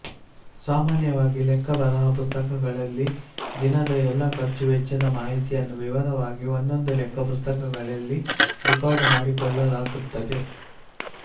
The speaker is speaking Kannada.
ಸಾಮಾನ್ಯವಾಗಿ ಲೆಕ್ಕ ಬರಹ ಪುಸ್ತಕಗಳಲ್ಲಿ ದಿನದ ಎಲ್ಲ ಖರ್ಚು ವೆಚ್ಚದ ಮಾಹಿತಿಯನ್ನು ವಿವರವಾಗಿ ಒಂದೊಂದು ಲೆಕ್ಕ ಪುಸ್ತಕಗಳಲ್ಲಿ ರಿಕಾರ್ಡು ಮಾಡಿಕೊಳ್ಳಲಾಗುತ್ತದೆ